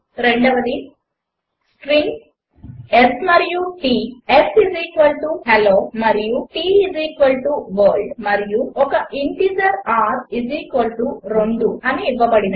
4 strings s మరియు t s hello మరియు t world మరియు ఒక ఇంటీజర్ r 2 అని ఇవ్వబడినవి